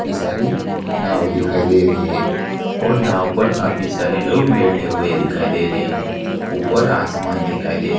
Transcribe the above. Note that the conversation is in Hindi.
कई सारी नाव दिखाई दे रही है और नाव पर काफी सारे लोग बैठे हुए दिखाई दे रहे है ऊपर आसमान दिखाई दे--